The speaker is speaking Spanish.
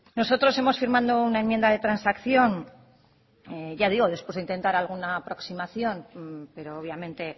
nosotros hemos firmado una enmienda de transacción ya digo después de intentar alguna aproximación pero obviamente